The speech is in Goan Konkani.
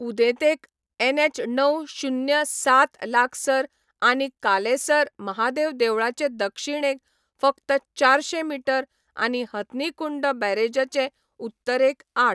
उदेंतेक एनएच णव, शुन्य, सात लागसार आनी कालेसर महादेव देवळाचे दक्षिणेक फकत चारशे मीटर आनी हथनी कुंड बॅरेजाचे उत्तरेक आठ.